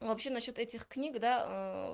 но вообще насчёт этих книг да